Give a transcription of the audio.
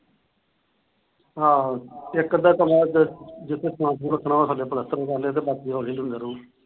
ਆਹ ਇੱਕ ਅੱਧਾ ਕਮਰਾ ਇਧਰ ਜਿੱਥੇ ਸਮਾਨ ਸਮੂਨ ਰੱਖਣਾ ਉਹ ਥੱਲੇ ਪਲੱਸਤਰ ਕਰਲੇ ਤੇ ਬਾਕੀ ਹੌਲੀ ਹੌਲੀ ਹੁੰਦਾ ਰਹੁੰਗਾ।